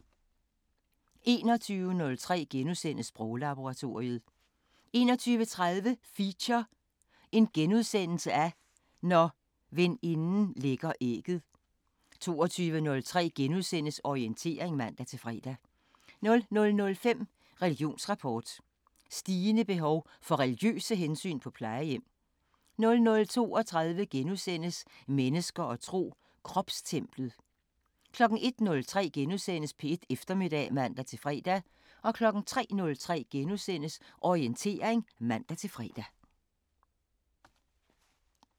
21:03: Sproglaboratoriet * 21:30: Feature: Når veninden lægger ægget * 22:03: Orientering *(man-fre) 00:05: Religionsrapport: Stigende behov for religiøse hensyn på plejehjem 00:32: Mennesker og tro: Kropstemplet * 01:03: P1 Eftermiddag *(man-fre) 03:03: Orientering *(man-fre)